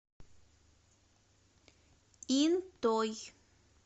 интой